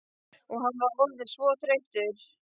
Og hann var orðinn svo þreyttur.